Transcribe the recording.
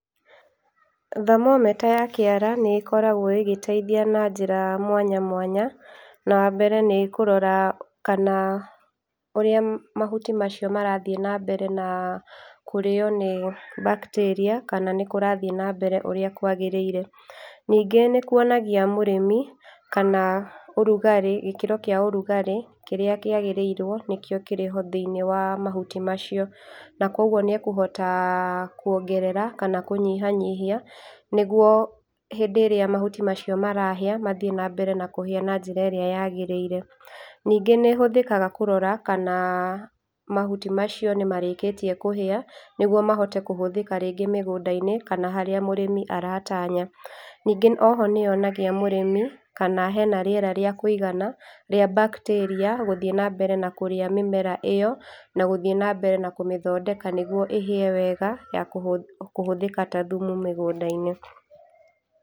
Thermometer ya kĩara nĩ koragwo ĩgĩteithia na njĩra mwanya mwanya, na wambere nĩ kũrora kana ũrĩa mahuti macio marathiĩ na mbere na kũrĩo nĩ bacteria kana nĩkũrathiĩ nambere ũrĩa kwagĩrĩire. Ningĩ nĩ kuonagia mũrĩmi kana ũrugarĩ gĩkĩro kĩa ũrugarĩ kĩrĩa kĩagĩrĩirwo nĩkĩo kĩrĩho thĩinĩ wa mahuti macio na kwoguo nĩ ekũhota kwongerera kana kũnyihanyihia nĩguo hĩndĩ ĩrĩa mahuti macio marahĩa mathiĩ na mbere na kũhĩa na njĩra ĩrĩa yagĩrĩire. Ningĩ nĩ hũthĩkaga kũrora kana mahuti macio nĩ marĩkĩtie kũhĩa, nĩguo mahote kũhũthĩka ringĩ mĩgũnda-inĩ kana harĩa mũrĩmi aratanya. Ningĩ oho nĩ yonagia mũrĩmi kana hena rĩera rĩa kũigana rĩa bacteria gũthiĩ na mbere na kũrĩa mĩmera ĩyo na gũthiĩ nambere na kũmathondeka nĩguo ĩhĩe wega ya kũhũ kũhũthĩka ta thumu mĩgunda-inĩ.